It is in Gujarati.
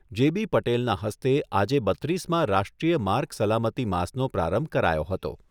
જે બી પટેલના હસ્તે આજે બત્રીસમા રાષ્ટ્રીય માર્ગ સલામતી માસનો પ્રારંભ કરાયો હતો.